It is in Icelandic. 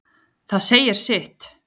Það segir sitt.